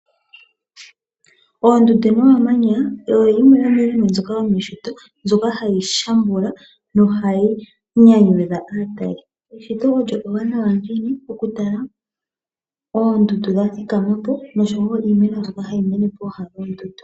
Oondundu nomamanya oyo yimwe yo miinima mbyoka yomeshito, mbyoka hayi shambula no hayi nyanyudha aatali. Eshito olyo ewanawa ngiini okutala oondundu dha thikama po osho wo iimeno mbyoka hayi mene pooha dhoondundu.